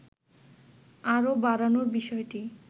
আরো বাড়ানোর বিষয়টি